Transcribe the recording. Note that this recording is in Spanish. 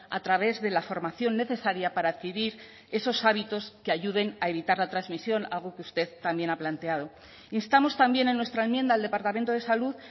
a través de la formación necesaria para adquirir esos hábitos que ayuden a evitar la transmisión algo que usted también ha planteado instamos también en nuestra enmienda al departamento de salud